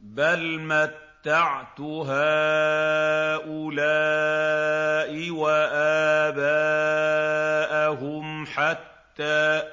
بَلْ مَتَّعْتُ هَٰؤُلَاءِ وَآبَاءَهُمْ حَتَّىٰ